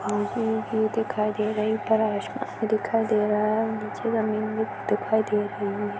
यहाँ पे व्यू दिखाई दे रही है ऊपर आसमान दिखाई दे रहा है नीचे जमीन भी दिखाई दे रही हैं।